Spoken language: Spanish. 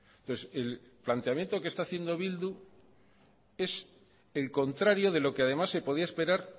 entonces el planteamiento que está haciendo bildu es el contrario de lo que además se podía esperar